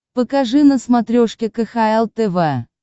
покажи на смотрешке кхл тв